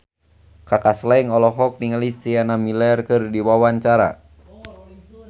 Kaka Slank olohok ningali Sienna Miller keur diwawancara